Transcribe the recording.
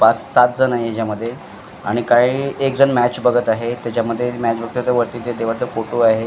पाच सातजण आहे ह्याच्यामध्ये आणि काही एकजण मॅच बघत आहे त्याच्या मध्ये मॅच बघतोय तो वरती ते देवाचा फोटो आहे.